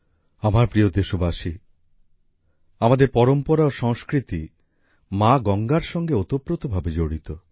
আমার প্রিয় দেশবাসী আমাদের পরম্পরা ও সংস্কৃতি মা গঙ্গার সঙ্গে ওতপ্রোত ভাবে জড়িত